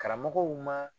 Karamɔgɔw ma